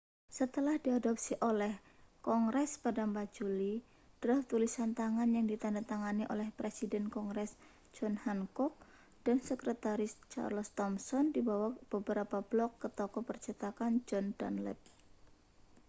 setelah diadopsi oleh kongres pada 4 juli draf tulisan tangan yang ditandatangani oleh presiden kongres john hancock dan sektretaris charles thomson dibawa beberapa blok ke toko percetakan john dunlap